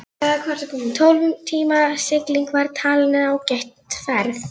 Tólf tíma sigling var talin ágæt ferð.